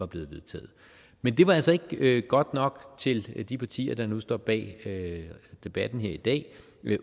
blevet vedtaget men det var altså ikke ikke godt nok til de partier der nu står bag debatten her i dag